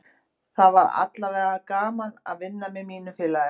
Það var aðallega gaman að vinna með mínu félagi.